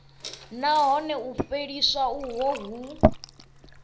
nahone u fheliswa uho hu